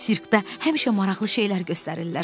Sirkdə həmişə maraqlı şeylər göstərirlər.